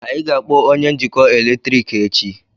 anyị ga-akpọ onye njikọ eletrik echi